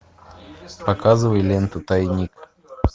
показывай ленту тайник